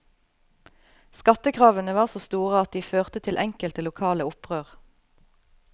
Skattekravene var så store at de føret til enkelte lokale opprør.